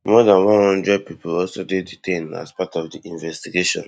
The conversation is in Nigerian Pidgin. more dan one hundred pipo also dey detained as part of di investigation